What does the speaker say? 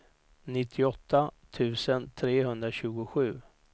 nittioåtta tusen trehundratjugosju